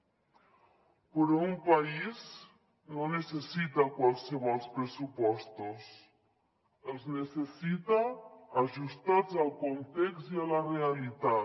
però un país no necessita qualssevol pressupostos els necessita ajustats al context i a la realitat